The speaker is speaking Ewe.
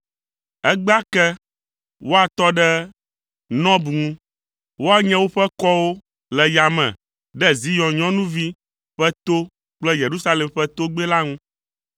Egbea ke, woatɔ ɖe Nɔb ŋu. Woanye woƒe kɔwo le yame ɖe Zion nyɔnuvi ƒe to kple Yerusalem ƒe togbɛ la ŋu.